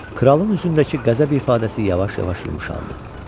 Kralın üzündəki qəzəb ifadəsi yavaş-yavaş yumşaldı.